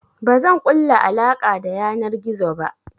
Bazan ƙulla alaƙa ta yanar gizo ba.